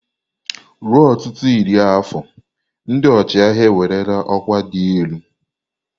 Ruo ọtụtụ iri afọ, ndị ọchịagha ewerela ọkwa dị elu.